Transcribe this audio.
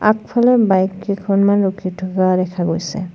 আগফালে বাইক কেইখনমান ৰখি থকা দেখা গৈছে।